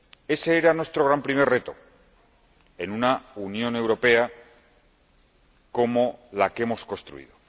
Ese era nuestro primer gran reto en una Unión Europea como la que hemos construido.